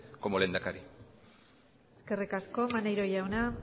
como lehendakari eskerrik asko maneiro jauna